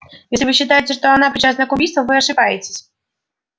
если вы считаете что она причастна к убийству вы ошибаетесь